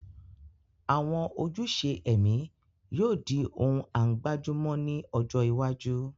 Àwọn ojúṣe ẹ̀mí yóò di ohun à ń gbájú mọ́ ní ọjọ́ iwájú